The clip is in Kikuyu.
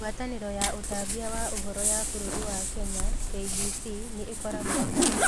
Ngwatanĩro ya ũtambia wa Ũhoro ya bũrũri wa Kenya (KBC) nĩ ĩkoragwo ho.